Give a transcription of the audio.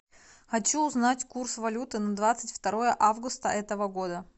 хочу узнать курс валюты на двадцать второе августа этого года